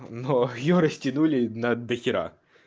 но её растянули на дохера